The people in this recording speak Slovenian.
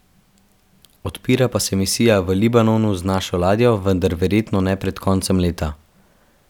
Odpira pa se misija v Libanonu z našo ladjo, vendar verjetno ne pred koncem leta.